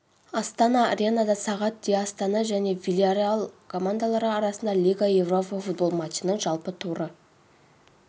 астана аренада сағат деастана және вильярреал командалары арасында лига европа футбол матчы ның жалпы туры